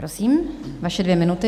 Prosím, vaše dvě minuty.